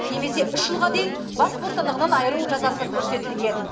немесе үш жылға дейін бас бостандығынан айыру жазасы көрсетілген